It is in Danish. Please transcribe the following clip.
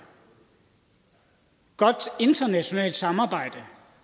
godt internationalt samarbejde